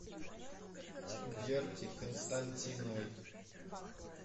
верки константиновой